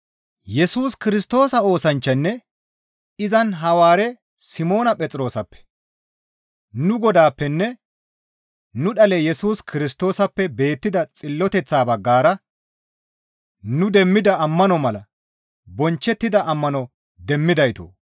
Yesus Kirstoosa oosanchchanne izan Hawaare Simoona gidida Phexroosappe, nu Godaappenne nu dhale Yesus Kirstoosappe beettida xilloteththa baggara nu demmida ammano mala bonchchettida ammano demmidaytoo!